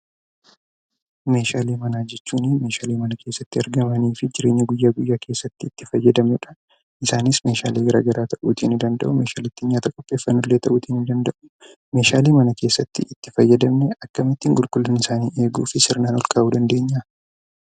Meeshaalee manaa jechuun meeshaalee mana keessatti argamanii fi jireenya guyyaa guyyaa keessatti itti fayyadamnudha. Isaanis meeshaalee garaa garaa ta'uutii ni danda'u. Meeshaalee nyaata qopheessan illee ta'uu danda'u. Meeshaalee mana keessatti itti fayyadamnu akkamittiin qulqullina isaanii eeguu fi sirnaan ol kaahuu dandeenya?